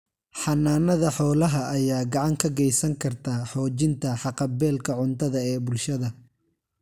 Xannaanada xoolaha ayaa gacan ka geysan karta xoojinta haqab-beelka cuntada ee bulshada.